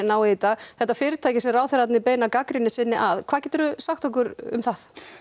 í dag þetta fyrirtæki sem ráðherrarnir beina gagnrýni sinni að hvað geturðu sagt okkur um það